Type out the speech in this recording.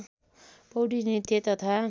पौडी नृत्य तथा